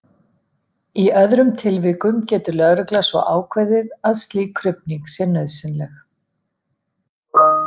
Í öðrum tilvikum getur lögregla svo ákveðið að slík krufning sé nauðsynleg.